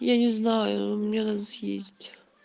я не знаю мне надо съездить